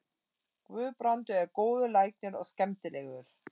Guðbrandur er góður læknir og skemmtilegur.